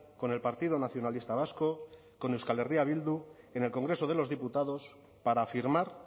con el partido nacionalista vasco con euskal herria bildu en el congreso de los diputados para firmar